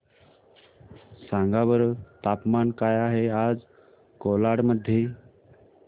सांगा बरं तापमान काय आहे आज कोलाड मध्ये